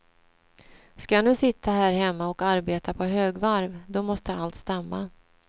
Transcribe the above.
Ska jag nu sitta här hemma och arbeta på högvarv, då måste allt stämma.